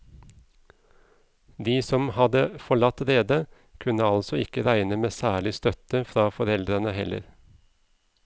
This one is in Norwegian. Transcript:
De som hadde forlatt redet, kunne altså ikke regne med særlig støtte fra foreldrene heller.